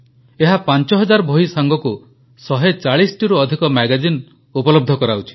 ଏହା 5000 ବହି ସାଙ୍ଗକୁ 140ଟିରୁ ଅଧିକ ମ୍ୟାଗାଜିନ୍ ଉପଲବ୍ଧ କରାଉଛି